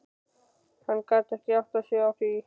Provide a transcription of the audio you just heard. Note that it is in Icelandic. Hann gat ekki áttað sig á því.